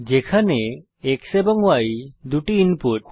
যেখানে X এবং Y হল দুটি ইনপুট